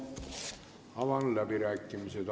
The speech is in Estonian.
Avan läbirääkimised.